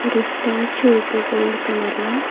ஒரு ஸ்டேச்சு இருக்கு கோல்ட் கலர்ல.